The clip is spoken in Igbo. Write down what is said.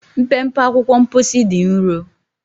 Mpempe akwụkwọ mposi dị nro.